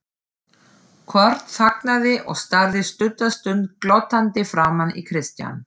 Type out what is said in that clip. Kort þagnaði og starði stutta stund glottandi framan í Christian.